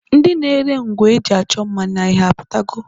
Ndi na-ere ngwa e ji achọ mma n'ahịa apụtago?